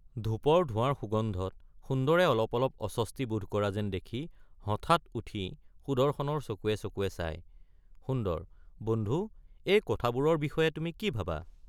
ধূপৰ ধোঁৱাৰ সুগন্ধত সুন্দৰে অলপ অলপ অস্বস্তি বোধ কৰা যেন কৰি হঠাৎ উঠি সুদৰ্শনৰ চকুৱে চকুৱে চাই সুন্দৰ—বন্ধু—এই কথাবোৰৰ বিষয়ে তুমি কি ভাবা?